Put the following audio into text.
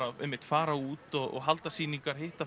einmitt fara út og halda sýningar hitta